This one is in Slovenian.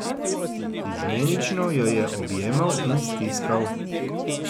Izmenično jo je objemal in stiskal.